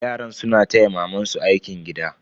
Yaran suna taya mamansu aikin gida.